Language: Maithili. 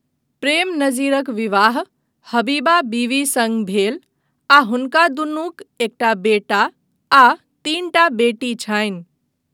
प्रेम नज़ीरक विवाह हबीबा बीवी सङ्ग भेल आ हुनका दुनूक एकटा बेटा आ तीनटा बेटी छनि।